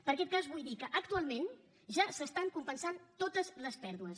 per aquest cas vull dir que actualment ja s’estan compensant totes les pèrdues